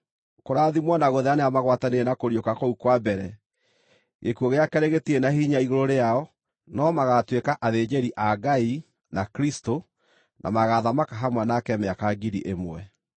Kũrathimwo na gũthera nĩ arĩa magwatanĩire na kũriũka kũu kwa mbere. Gĩkuũ gĩa keerĩ gĩtirĩ na hinya igũrũ rĩao, no magaatuĩka athĩnjĩri-Ngai o na Kristũ, na magaathamaka hamwe nake mĩaka ngiri ĩmwe.